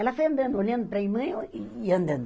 Ela foi andando, olhando para a irmã e andando.